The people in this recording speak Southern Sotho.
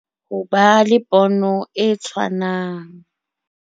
Ho ba le pono e tshwanang